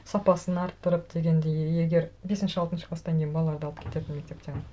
сапасын арттырып дегендей егер бесінші алтыншы класстан кейін балаларды алып кетеді мектептен